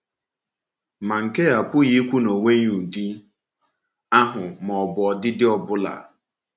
Ma nke a apụghị ikwu na ọ nweghị ụdị ahụ ma ọ bụ ọdịdị ọ bụla.